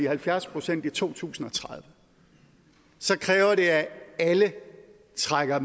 halvfjerds procent i to tusind og tredive kræver det at alle trækker